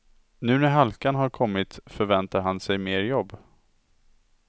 Nu när halkan har kommit förväntar han sig mer jobb.